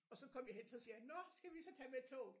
Og så kom jeg hen så siger jeg nåh skal vi så tage med toget